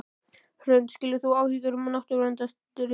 Hrund: Skilur þú áhyggjur náttúruverndarsinna?